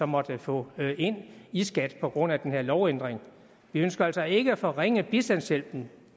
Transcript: måtte få ind i skat på grund af den her lovændring vi ønsker altså ikke at forringe bistandshjælpen